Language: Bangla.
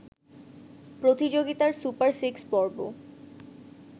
প্রতিযোগিতার সুপার সিক্স পর্ব